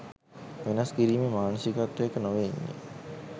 වෙනස් කිරීමේ මානසිකත්වයක නොවේ ඉන්නෙ.